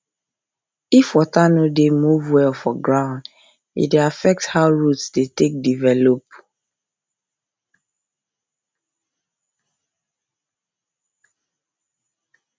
if water no dey dey move well for ground e dey affect how root take dey develop